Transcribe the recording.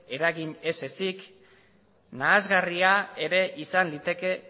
eragin ez ezezik nahasgarria ere izan liteke